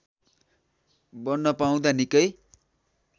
बन्न पाउँदा निकै